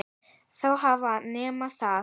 Þá hafa menn það.